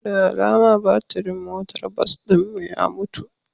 Da alama batirin motar bas ɗin mu ya mutu